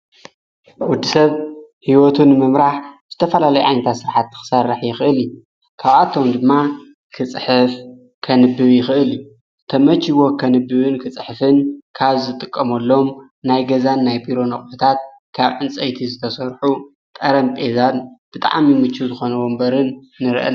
ውዲ ሰብ ሕይወቱን ምምራኅ ዝተፈላለይ ኣንታ ሥርሓት ትኽሠርሕ ይኽእል እዩ ካብኣቶም ድማ ክጽሕፍ ከንብብ ይኽእል እዩ ተመጅይዎ ኸንብብን ክጽሕፍን ካብ ዝጥቀመሎም ናይ ገዛን ናይ ቢሮነኣቖታት ካብ ዕንፀይቲ ዝተሠርኁ ቐረም ጴዛን ብጣዓም ይምች ዝኾነዎ እምበርን ንርአ::